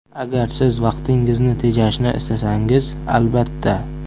Agar Siz vaqtingizni tejashni istasangiz – albatta!